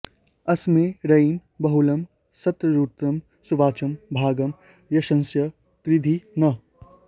अस्मे रयिं बहुलं संतरुत्रं सुवाचं भागं यशसं कृधी नः